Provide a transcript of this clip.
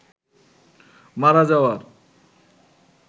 মারা যাওয়ার